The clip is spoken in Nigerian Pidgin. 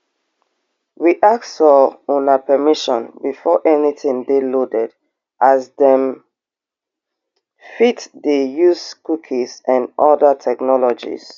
we ask for una permission before anytin dey loaded as dem fit dey use cookies and oda technologies